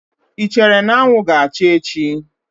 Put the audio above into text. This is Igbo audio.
Ị chere na anwụ ga-acha echi?